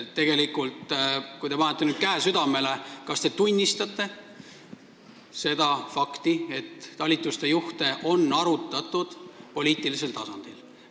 Kui te panete nüüd käe südamele, siis kas te tunnistate seda fakti, et talituste juhte on arutatud poliitilisel tasandil?